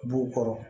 B'u kɔrɔ